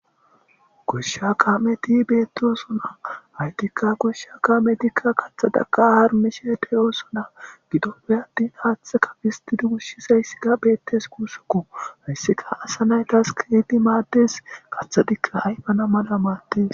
Goshsha kaameti bettossona hayttika goshsha kaamettika kaththatakka haarmishe de7ossona giddope attan haththaka pisstidi ushshizayssika bettes gussuko haysikka asa nayttas kehidi maades kaththatika ayffana malla maades.